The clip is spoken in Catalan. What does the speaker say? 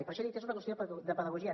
per això he dit és una qüestió de pedagogia